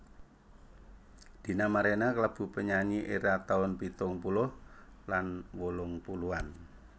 Dina Mariana kalebu penyanyi éra taun pitung puluh lan wolung puluhan